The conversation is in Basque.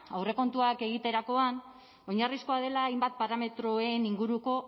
aurrekontuak egiterakoan oinarrizkoa dela hainbat parametroen inguruko